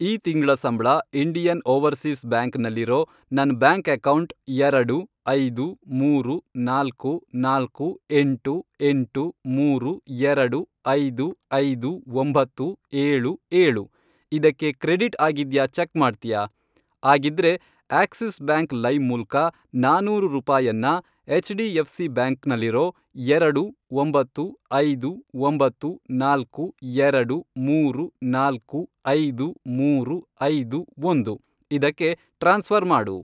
ಈ ತಿಂಗ್ಳ ಸಂಬ್ಳ ಇಂಡಿಯನ್ ಓವರ್ಸೀಸ್ ಬ್ಯಾಂಕ್ ನಲ್ಲಿರೋ ನನ್ ಬ್ಯಾಂಕ್ ಅಕೌಂಟ್, ಎರಡು, ಐದು, ಮೂರು, ನಾಲ್ಕು, ನಾಲ್ಕು, ಎಂಟು, ಎಂಟು, ಮೂರು, ಎರಡು, ಐದು, ಐದು, ಒಂಬತ್ತು, ಏಳು, ಏಳು, ಇದಕ್ಕೆ ಕ್ರೆಡಿಟ್ ಆಗಿದ್ಯಾ ಚೆಕ್ ಮಾಡ್ತ್ಯಾ? ಆಗಿದ್ರೆ, ಆಕ್ಸಿಸ್ ಬ್ಯಾಂಕ್ ಲೈಮ್ ಮೂಲ್ಕ ನಾನೂರು ರೂಪಾಯನ್ನ ಎಚ್.ಡಿ.ಎಫ್.ಸಿ. ಬ್ಯಾಂಕ್ ನಲ್ಲಿರೋ, ಎರಡು, ಒಂಬತ್ತು, ಐದು, ಒಂಬತ್ತು, ನಾಲ್ಕು, ಎರಡು, ಮೂರು, ನಾಲ್ಕು, ಐದು, ಮೂರು, ಐದು, ಒಂದು, ಇದಕ್ಕೆ ಟ್ರಾನ್ಸ್ಫ಼ರ್ ಮಾಡು.